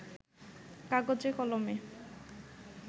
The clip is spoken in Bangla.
কাগজে কলমে